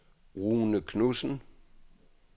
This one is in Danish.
Rune Knudsen